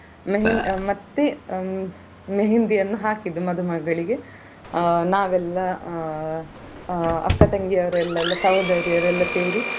मेहंदी ಅಹ್ ಮತ್ತೆ मेहंदी ಹಾಕಿದ್ದು ಮದುಮಗಳಿಗೆ ಅಹ್ ನಾವೆಲ್ಲಾ ಅಹ್ ಅಹ್ ಅಕ್ಕ ತಂಗಿಯವರೆಲ್ಲ ಸಹೋದರಿಯರೆಲ್ಲ ಸೇರಿ.